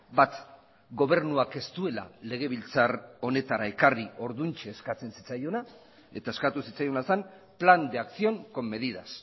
bat gobernuak ez duela legebiltzar honetara ekarri orduantxe eskatzen zitzaiona eta eskatu zitzaiona zen plan de acción con medidas